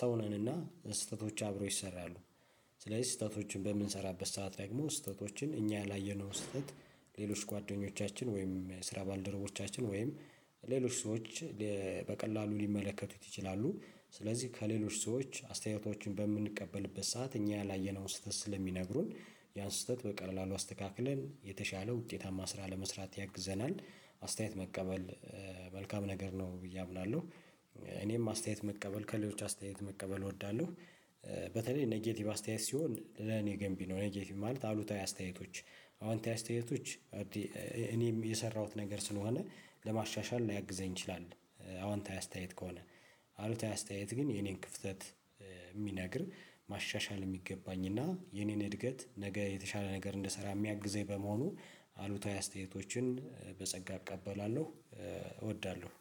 ሰው ነንና ስህተቶች አብረው ይሰራሉ ስለዚህ ስህተቶችን በምንሰራበት ሰዓት ላይ ደግሞ ስህተቶችን እኛ ያላየነው ስህተት ሌሎች ጓደኞቻችን ወይም የስራ ባልደረቦቻችን ወይም ሌሎች ሰዎች። በቀላሉ ሊመለከቱት ይችላሉ ስለዚህ ከሌሎች ሰዎች አስተያየቶችን በምንቀበልበት ሰዓት እኛ ያላየነውን ስህተት ስለሚነግሩን ያን ስህተት በቀላሉ አስተካክለን የተሻለ ውጤታማ ስራ ለመስራት ያግዘናልናል አስተያየት መቀበል መልካም ነገር ነው ብዬ አምናለሁ። እኔም አስተያየት መቀበል ከሌሎች አስተያየት መቀበል እወዳለሁ በተለይ ኔጌቲቭ አስተያየት ሲሆን ለእኔ ገንቢ ነው። ኔጌቲቭ ማለት አሉታዊ አስተያየቶች፣ አወንታዊ አስተያየቶች፣ እኔም የሰራሁት ነገር ስለሆነ ለማሻሻል ሊያግዘኝ ይችላል። አዎንታዊ አስተያየት ከሆነ አሉታዊ አስተያየት ግን የእኔን ክፍተት የሚነግረኝ መሻሻል የሚገባኝ እና የእኔን እድገት ነገ የተሻለ ነገር እንድሰራ የሚረደኝ በመሆኑ አሉታዊ አስተያየቶችን በጸጋ እቀበላለሁ እወዳለሁ